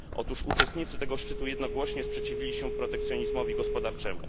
Otóż uczestnicy tego szczytu jednogłośnie sprzeciwili się protekcjonizmowi gospodarczemu.